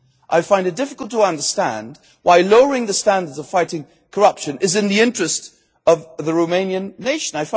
I find it difficult to understand why lowering the standards on fighting corruption is in the interest of the Romanian nation.